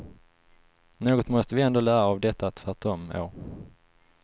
Något måste vi ändå lära av detta tvärtom år.